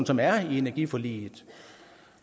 som er i energiforliget